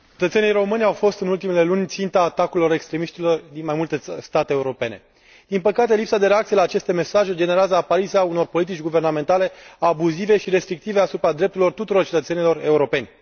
Domnule președinte, cetățenii români au fost, în ultimele luni, ținta atacurilor extremiștilor din mai multe state europene. Din păcate, lipsa de reacție la aceste mesaje generează apariția unor politici guvernamentale abuzive și restrictive cu privire la drepturile tuturor cetățenilor europeni.